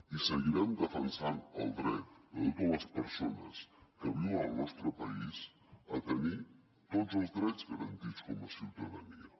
i seguirem defensant el dret de totes les persones que viuen al nostre país a tenir tots els drets garantits com a ciutadania